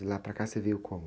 De lá para cá você veio como?